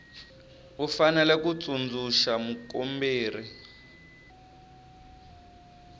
u fanele ku tsundzuxa mukomberi